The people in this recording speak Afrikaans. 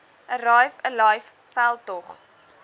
arrive alive veldtog